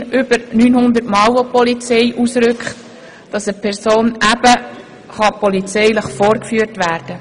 Pro Jahr muss die Polizei wegen häuslicher Gewalt über 900-mal ausrücken.